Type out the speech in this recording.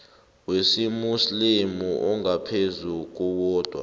wesimuslimu ongaphezu kowodwa